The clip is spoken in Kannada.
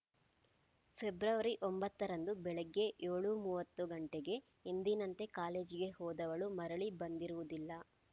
ಫೆಬ್ರವರಿ ಒಂಬತ್ತರಂದು ಬೆಳಿಗ್ಗೆ ಏಳು ಮೂವತ್ತು ಗಂಟೆಗೆ ಎಂದಿನಂತೆ ಕಾಲೇಜಿಗೆ ಹೋದವಳು ಮರಳಿ ಬಂದಿರುವುದಿಲ್ಲ